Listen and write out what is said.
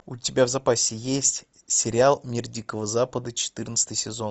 у тебя в запасе есть сериал мир дикого запада четырнадцатый сезон